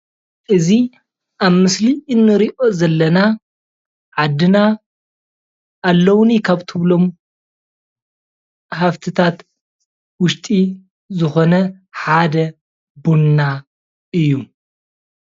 እዚ ኣብ ምስሊ እንሪኦ ዘለና ዓድና ኣለዉኒ ካብ እትብሎም ሃፍትታት ውሽጢ ዝኮነ ሓደ ቡና እዩ፡፡